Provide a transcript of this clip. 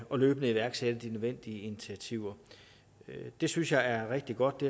og løbende iværksætte de nødvendige initiativer det synes jeg er rigtig godt det